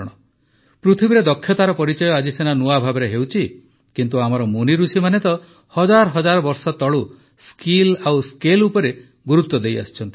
ପୃଥିବୀରେ ଦକ୍ଷତାର ପରିଚୟ ଆଜି ସିନା ନୂଆ ଭାବେ ହେଉଛି କିନ୍ତୁ ଆମର ମୁନିଋଷିମାନେ ତ ହଜାର ହଜାର ବର୍ଷ ତଳୁ ସ୍କିଲ୍ ଓ ସ୍କେଲ୍ ଉପରେ ଗୁରୁତ୍ୱ ଦେଇଆସିଛନ୍ତି